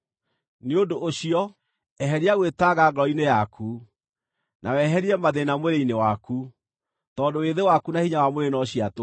Nĩ ũndũ ũcio, eheria gwĩtanga ngoro-inĩ yaku, na weherie mathĩĩna mwĩrĩ-inĩ waku, tondũ wĩthĩ waku na hinya wa mwĩrĩ no cia tũhũ.